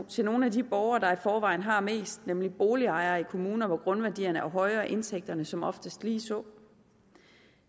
til nogle af de borgere der i forvejen har mest nemlig boligejere i kommuner hvor grundværdierne er høje og indtægterne som oftest lige så